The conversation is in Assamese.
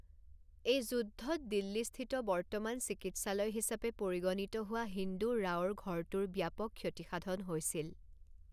এই যুদ্ধত দিল্লীস্থিত বৰ্তমান চিকিৎসালয় হিচাপে পৰিগণিত হোৱা হিন্দু ৰাওৰ ঘৰটোৰ ব্যাপক ক্ষতিসাধন হৈছিল৷